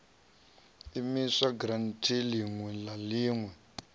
imisiwa giranthi iṋwe na iṋwe